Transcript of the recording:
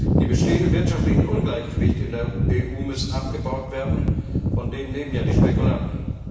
Die bestehenden wirtschaftlichen Ungleichgewichte in der EU müssen abgebaut werden, von denen leben ja die Spekulanten.